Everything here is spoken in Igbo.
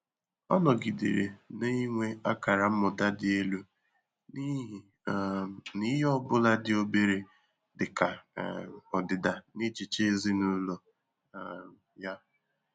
Ọ́ nọgídèrè nà-ènwé ákàrà mmụ́tà dị́ èlú n’íhí um nà ìhè ọ bụ́lá dị́ óbèré dị́ kà um ọdị́dà n’échíché èzínụ́lọ um yá.